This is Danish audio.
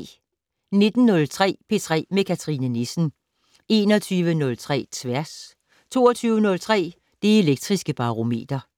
19:03: P3 med Cathrine Nissen 21:03: Tværs 22:03: Det Elektriske Barometer